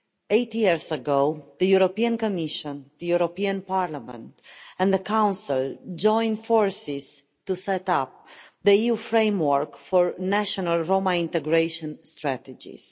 Eight years ago the European Commission, the European Parliament and the Council joined forces to set up the EU framework for national Roma integration strategies.